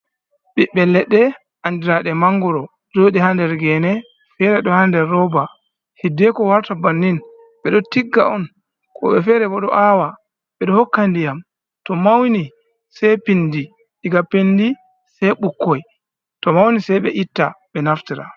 Ɓiɓɓe leɗɗe andiraɗe mangoro joɗi ha nder gene, fere ɗo ha nder roba. Hiddeko warta bannin ɓeɗo tigga on woɓɓe fere bo ɗo awa. Ɓeɗo hokka ndiyam to mauni sei pindi, diga pendi sei ɓukkoi to mauni, sei ɓe itta ɓe naftira.